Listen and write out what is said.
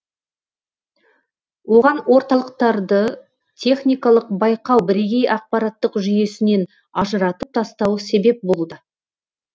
оған орталықтарды техникалық байқау бірегей ақпараттық жүйесінен ажыратып тастауы себеп болуда